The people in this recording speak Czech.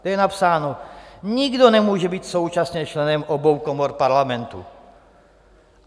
Tam je napsáno: Nikdo nemůže být současně členem obou komor Parlamentu.